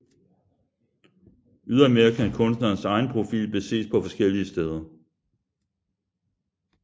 Ydermere kan kunstnerens egen profil beses på forskellige steder